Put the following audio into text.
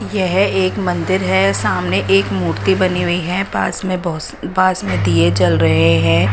यह एक मंदिर है सामने एक मूर्ति बनी हुई है पास में बहुत पास में दिए जल रहे हैं।